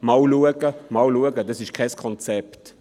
«Schauen wir einmal, schauen wir einmal» – das ist kein Konzept.